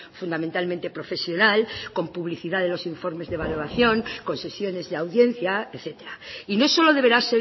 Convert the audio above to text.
fundamentalmente profesional con publicidad de los informes de evaluación con sesiones de audiencia etcétera y no solo deberá